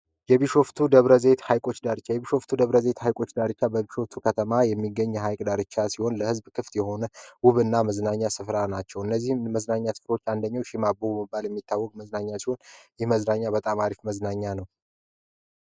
የቢሾፍቱ ደብረዘይት ሃይች ዳርቻ የቢሾፍቱ ደብረዘይት ሐይቆች ዳርቻ በብሾፍቱ ከተማ የሚገኝ የሃይቅ ዳርቻ ሲሆን ለሕዝብ ክፍት የሆነ ውብ እና መዝናኛ ስፍራ ናቸው ።እነዚህም መዝናኛ ትፍሮች አንደኘው ሱም አቦ መባል የሚታወቅ መዝናኛ ሲሆን ይህ መዝናኛ በጣም አሪፍ መዝናኛ ነው።